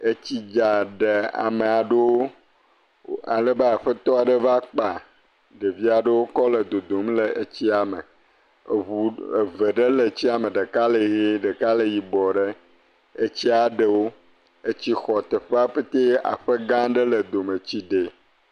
Etsi dza de ame aɖewo. Alebe aƒetɔ va kpa amewo le dodom le tsia me. Axɔ, Eʋe ɖe le etsia me, ɖeka le ɣiɖe, ɖeka le yibɔɖɛ. Etsia ɖe wò. Etsi xɔ teƒea katã. Etsia ɖe wò.